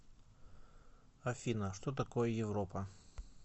афина что такое европа